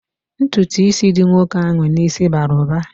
Ntụtụ ísì dị nwoke ahụ n'isi bara uba